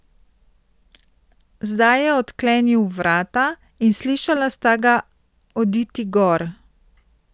Zdaj je odklenil vrata, in slišala sta ga oditi gor.